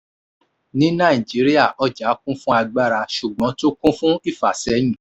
ní nàìjíríà ọjà kún fún agbára ṣùgbọ́n tún kún fún ìfàsẹ́yìn.